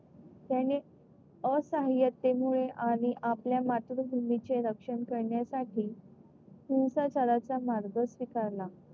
त्याने असाह्ययतेमुळे आणि आपल्या मातृभूमीचे रक्षण करण्यासाठी हिंसाचाराचा मार्ग स्वीकारला,